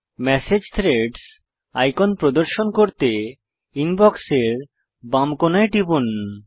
message threads icon প্রদর্শন করতে ইনবক্সের বাম কোণায় টিপুন